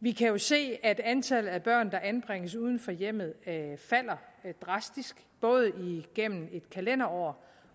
vi kan jo se at antallet af børn der anbringes uden for hjemmet falder drastisk både igennem et kalenderår